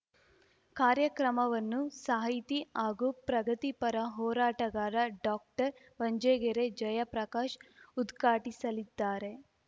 ಕಾರ್ಯಕ್ರಮವನ್ನು ಸಾಹಿತಿ ಹಾಗೂ ಪ್ರಗತಿಪರ ಹೋರಾಟಗಾರ ಡಾಕ್ಟರ್ಬಂಜಗೆರೆ ಜಯಪ್ರಕಾಶ್‌ ಉದ್ಘಾಟಿಸಲಿದ್ದಾರೆ